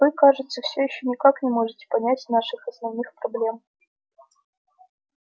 вы кажется все ещё никак не можете понять наших основных проблем